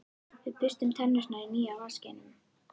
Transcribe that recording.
Við burstum tennurnar í nýja vaskinum.